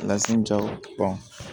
jaw